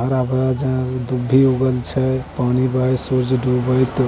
आर भाजन दुभि उगल छै पानी बहे सुरुज दुबै त --